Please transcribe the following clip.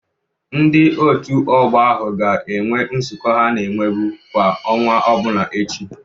Ndị Òtù Ọgbọ ahụ ga-enwe nzukọ ha na-enwebe kwa ọnwa ọbụla echi.